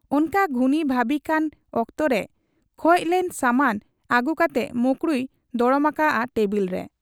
ᱚᱱᱠᱟ ᱜᱩᱱᱤ ᱵᱷᱟᱹᱵᱤᱜ ᱠᱟᱱ ᱚᱠᱛᱚᱨᱮ ᱠᱷᱚᱡᱽᱞᱮᱱ ᱥᱟᱢᱟᱱ ᱟᱹᱜᱩ ᱠᱟᱴᱮ ᱢᱚᱠᱨᱩᱭᱮ ᱫᱚᱲᱚᱢ ᱟᱠᱟᱜ ᱟ ᱴᱮᱵᱩᱞ ᱨᱮ ᱾